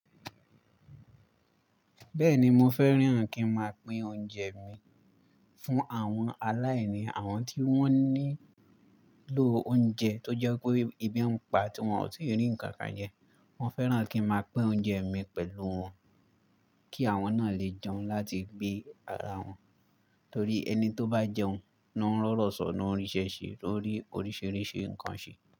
Bẹ́ẹ̀ni mo fẹ́ràn kí n máa pín oúnjẹ mi fún àwọn aláìní, àwọn tí wọ́n nílò oúnjẹ tó jẹ́ pé èbí pa tí wọ́n ò tí rí nǹkan kan jẹ. Mo fẹ́ràn kí n máa pín oúnjẹ mi pẹ̀lú wọn kí àwọn náà lè jẹun láti gbé ara wọn. Torí ẹni tó bá jẹun ló ń rọ̀rọ̀ sọ́ ló n ríṣẹ́ ṣe, lórí oríṣìíríṣìí nǹkan ṣe.